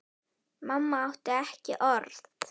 Mamma átti ekki orð.